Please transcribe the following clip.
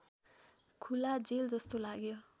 खुला जेलजस्तो लाग्यो